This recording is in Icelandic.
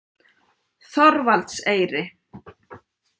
Þorvaldseyri